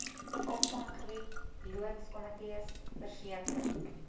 opvanggebied loodskomitees verseker